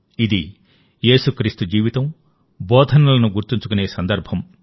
ఇది యేసుక్రీస్తు జీవితం బోధనలను గుర్తుంచుకునే సందర్భం